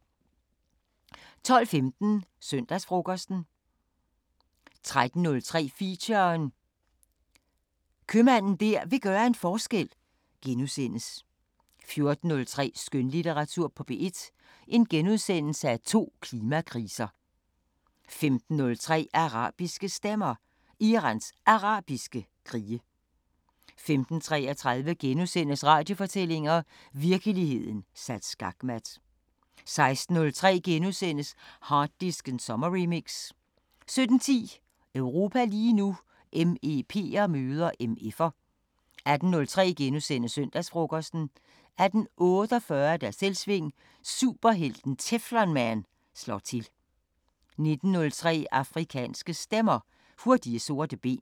12:15: Søndagsfrokosten 13:03: Feature: Købmanden der vil gøre en forskel * 14:03: Skønlitteratur på P1: To klimakriser * 15:03: Arabiske Stemmer: Irans Arabiske krige 15:33: Radiofortællinger: Virkeligheden sat skakmat * 16:03: Harddisken sommerremix * 17:10: Europa lige nu: MEP'er møder MF'er 18:03: Søndagsfrokosten * 18:48: Selvsving: Superhelten Teflon-Man slår til! 19:03: Afrikanske Stemmer: Hurtige sorte ben